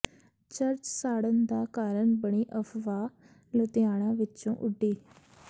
church ਸਾੜਨ ਦਾ ਕਾਰਨ ਬਣੀ ਅਫਵਾਹ ਲੁਧਿਆਣਾ ਵਿੱਚੋਂ ਉਡੀ